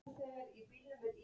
Marteinn Einarsson söng messu.